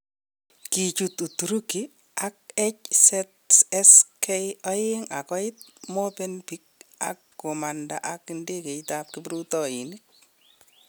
Kichut Uturuki ak HZSK2 agoit Movenpick ak gomanda ak ndegeit ab kiprutoinik.